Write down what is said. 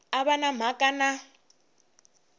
a va na mhaka na